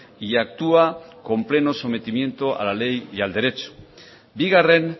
y actúa con pleno sometimiento a la ley y al derecho bigarren